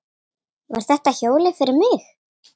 Var þetta hjólið fyrir mig?